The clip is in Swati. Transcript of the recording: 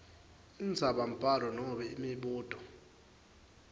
indzabambhalo nobe imibuto